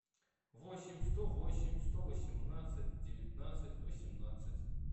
восемь сто восемь сто восемнадцать девятнадцать восемнадцать